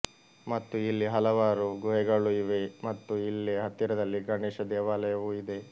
ಮತ್ತು ಇಲ್ಲಿ ಹಲವಾರು ಗುಹೆಗಳು ಇವೆ ಮತ್ತು ಇಲ್ಲೆ ಹತ್ತಿರದಲ್ಲಿ ಗಣೇಶ ದೇವಾಲಯವೂ ಇದೆ